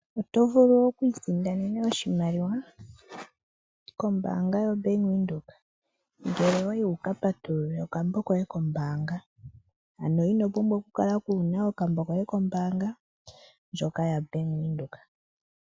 Oto vulu oku isindanena oshimaliwa kombaanga yoBank Windhoek, ngele owayi wu ka patulule okambo koye kombaanga. Ano ino pumbwa oku kala ku na okambo koye kombaanga ndjoka yaBank Windhoek.